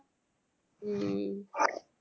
ஹம்